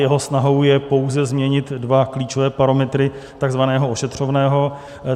Jeho snahou je pouze změnit dva klíčové parametry tzv. ošetřovného.